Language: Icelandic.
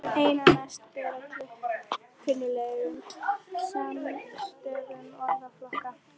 Einna mest ber á kunnuglegum skammstöfunum orðflokka.